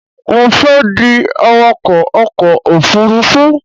Mo fẹ́ di awakọ̀ ọkọ̀ òfurufú